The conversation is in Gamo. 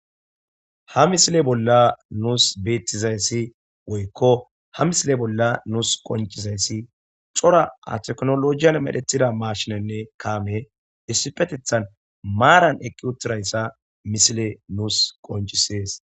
ha misile bolla nuus beettizayssi woykko ha misile bolla nuus qoncizayssi cora a teknolojiyan medhetida maashinenne kaame issipetethan maaran eqqi7uttirayssa misile nus qoncisees.